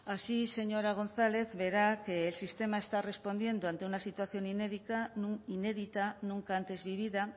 así señora gonzález verá que el sistema está respondiendo ante una situación inédita nunca antes vivida